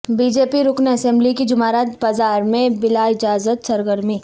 be J P رکن اسمبلی کی جمعرات بازار میں بلااجازت سرگرمی